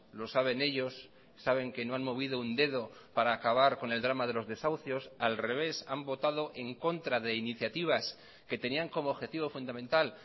lo saben ellos saben que no han movido un dedo para acabar con el drama de los desahucios al revés han votado en contra de iniciativas que tenían como objetivo fundamental